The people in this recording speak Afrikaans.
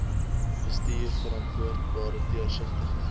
bestuur verantwoordbare deursigtige